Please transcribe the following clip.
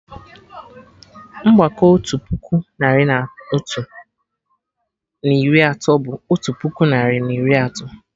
Mgbakọ otu puku narị na otu, na iri atọ bụ otu puku narị na iri atọ